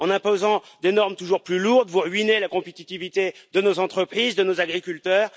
En imposant des normes toujours plus lourdes, vous sapez la compétitivité de nos entreprises, de nos agriculteurs.